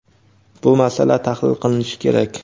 Bu masala tahlil qilinishi kerak.